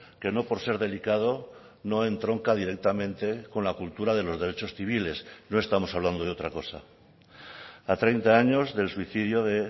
que no por ser delicado no entronca directamente con la cultura de los derechos civiles no estamos hablando de otra cosa a treinta años del suicidio de